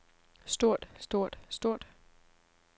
stort stort stort